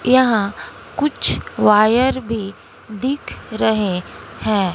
यहां कुछ वायर भी दिखे रहे हैं।